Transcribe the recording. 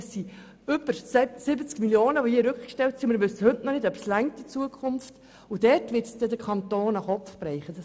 Es sind über 70 Mio. Franken, die hier rückgestellt sind und wir wissen bis heute nicht, ob es in der Zukunft ausreichen wird.